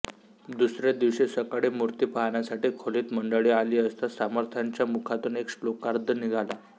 दुसरे दिवशी सकाळी मूर्ती पाहण्यासाठी खोलीत मंडळी आली असता समर्थांच्या मुखातून एक श्लोकार्ध निघाला